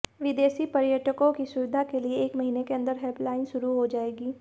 विदेशी पर्यटकों की सुविधा के लिए एक महीने के अंदर हेल्पलाइन शुरु हो जाएगी